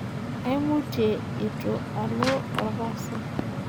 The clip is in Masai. Aimutie eitu alo olkasi.